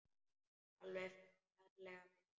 Alveg ferlega vel.